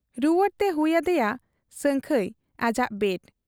ᱨᱩᱣᱟᱹᱲᱛᱮ ᱦᱩᱭ ᱟᱫᱮᱭᱟ ᱥᱟᱹᱝᱠᱷᱟᱹᱭ ᱟᱡᱟᱜ ᱵᱮᱰ ᱾